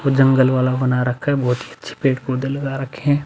कुछ जंगल वाला बना रखा है। बहोत ही अच्छे पेड़ - पौधे लगा रखे हैं।